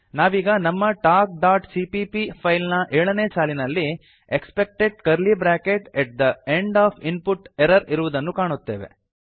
ನಾವೀಗ ನಮ್ಮ talkಸಿಪಿಪಿ ಫೈಲ್ ನ ಏಳನೇ ಸಾಲಿನಲ್ಲಿ expected curly bracket at the end of input error ಇರುವುದನ್ನು ಕಾಣುತ್ತೇವೆ